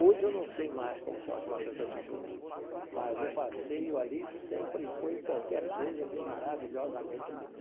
Hoje eu não sei mais como são as matas da Tijuca, mas o passeio ali sempre foi qualquer coisa de maravilhosamente lindo.